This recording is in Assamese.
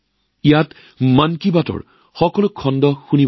ইয়াত এতিয়ালৈকে কৰা মন কী বাতৰ সকলো খণ্ড শুনিছে